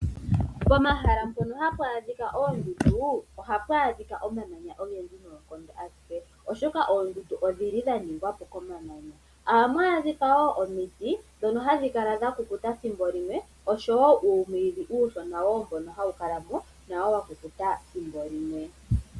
Pomahala mpono hapu adhika oondundu, ohapu adhika omamanya ogendji noonkondo , oshoka oondundu odhili dhaningwapo komamanya. Ohamu adhika woo omiti ndhono hadhi kala dhakukuta ethimbo limwe oshowoo uumwiidhi uushona nawo hawu kala wakukuta ethimbo limwe.